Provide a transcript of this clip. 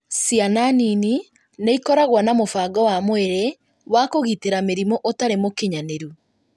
Ciana nini nĩ ikoragwo na mũbango wa mwĩrĩ wa kũgitĩra mĩrimũ ũtarĩ mũkinyanĩru,